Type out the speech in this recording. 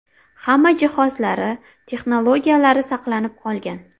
Hamma jihozlari, texnologiyalari saqlanib qolgan.